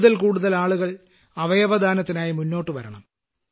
കൂടുതൽ കൂടുതൽ ആളുകൾ അവയവദാനത്തിനായി മുന്നോട്ടുവരണം